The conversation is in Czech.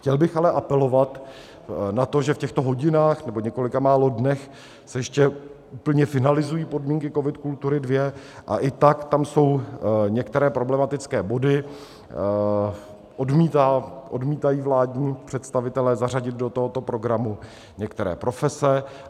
Chtěl bych ale apelovat na to, že v těchto hodinách, nebo několika málo dnech, se ještě úplně finalizují podmínky COVID - Kultury II, a i tak tam jsou některé problematické body, odmítají vládní představitelé zařadit do tohoto programu některé profese.